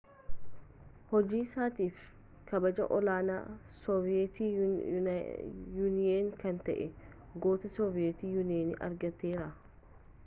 hojii isaatiif kabaja ol-aanaa sooviyeet yuuniyen kan ta'e goota sooviyeet yuuniyen argateera